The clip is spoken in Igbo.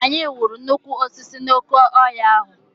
Anyị hụrụ nnukwu osisi n'oke ọhịa ahụ.